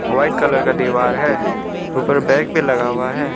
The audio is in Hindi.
व्हाइट कलर का दीवार है ऊपर बैग भी लगा हुआ है।